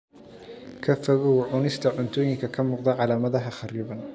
Ka fogow cunista cuntooyinka ka muuqda calaamadaha kharriban.